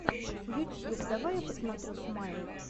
ютьюб давай я посмотрю смайл